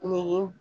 Nin